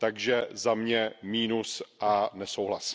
Takže za mě mínus a nesouhlas.